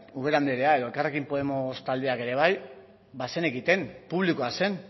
ubera anderea edo elkarrekin podemos taldeak ere bai bazenekiten publikoa zen